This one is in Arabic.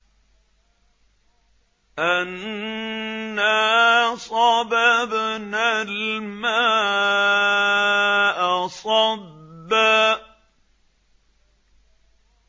أَنَّا صَبَبْنَا الْمَاءَ صَبًّا